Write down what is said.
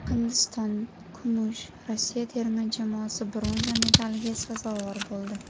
Hindiston kumush, Rossiya terma jamoasi bronza medaliga sazovor bo‘ldi.